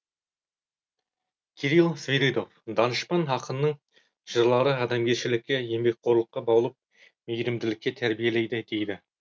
кирилл свиридов данышпан ақынның жырлары адамгершілікке еңбекқорлыққа баулып мейірімділікке тәрбиелейді дейді